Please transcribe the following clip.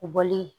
U bɔlen